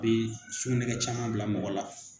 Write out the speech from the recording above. bɛ sugunɛko caman bila mɔgɔ la